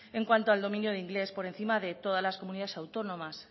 en cuanto al dominio del inglés por encima de todas las comunidades autónomas